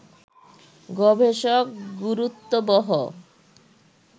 গবেষক গুরুত্ববহ